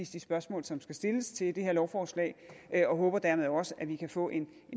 de spørgsmål som skal stilles til det her lovforslag og jeg håber dermed også at vi kan få en